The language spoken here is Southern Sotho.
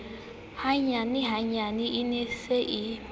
hanyenyane e ne e se